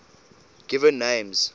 given names